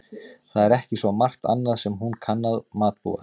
Það er ekki svo margt annað sem hún kann að matbúa.